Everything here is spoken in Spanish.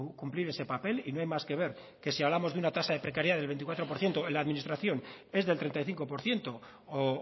cumplir ese papel y no hay más que ver que si hablamos de una tasa de precariedad del veinticuatro por ciento en la administración es del treinta y cinco por ciento o